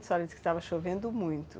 A senhora disse que estava chovendo muito.